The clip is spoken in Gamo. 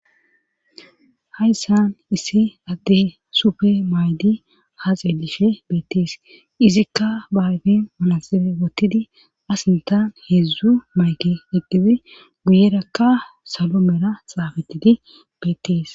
Haysan issi adey sufe mayidi haa xeellishe beetteesi;izikka ba ayfen manaxire wottidi a sinttan heedzdzu mayke eqqidi guyerakka salo mera xaafettidi beettees.